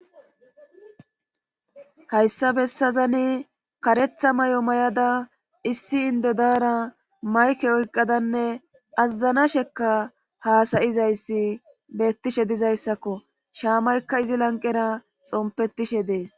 Hayssa bessazani karetha may'o may'ada issi indodaara mayke oyqqadanne azazana shekka haasayizayssi beettishe dizayssakko shaamaykka izi lanqera xompettishe dees.